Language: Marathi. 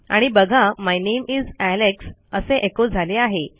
आणि बघा माय नामे इस एलेक्स असे एको झाले आहे